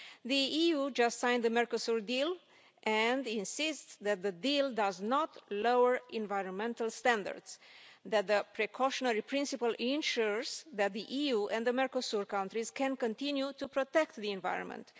The EU has just signed the Mercosur deal and insists that the deal does not lower environmental standards and that the precautionary principle ensures that the EU and the Mercosur countries can continue to protect the environment.